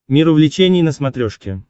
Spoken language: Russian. мир увлечений на смотрешке